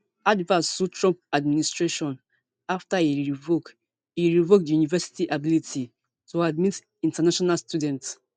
harvard sue trump administration afta e revoke e revoke di university ability to admit international students